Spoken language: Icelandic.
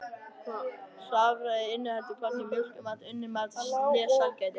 Hráfæði inniheldur hvorki mjólkurmat, unnin mat né sælgæti.